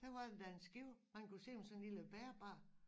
Der var endda en skib han kunne se med sådan en lille bærbar